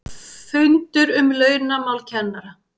FUNDUR UM LAUNAMÁL KENNARA